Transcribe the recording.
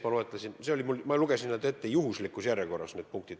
Ma lugesin need punktid ette juhuslikus järjekorras.